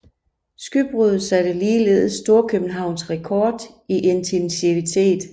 Skybruddet satte ligeledes storkøbenhavnsk rekord i intensitet